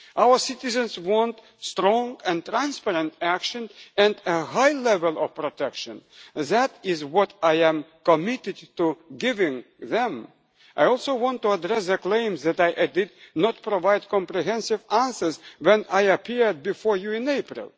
Our citizens want strong and transparent action and a high level of protection, and that is what I am committed to giving them. I also want to address the claim that I did not provide comprehensive answers when I appeared before you in